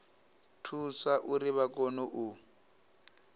thusa uri vha kone u